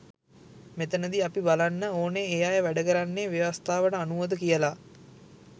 මෙතනදි අපි බලන්න ඕනෙ ඒ අය වැඩ කරන්නේ ව්‍යවස්ථාවට අනුවද කියලා.